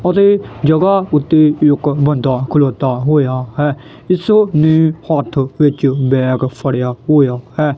ਉਹਦੇ ਜਗਾ ਉੱਤੇ ਬੰਦਾ ਖਲੋਤਾ ਹੋਇਆ ਹੈ ਇਸਨੇ ਹੱਥ ਵਿੱਚ ਬੈਗ ਫੜਿਆ ਹੋਇਆ ਹੈ।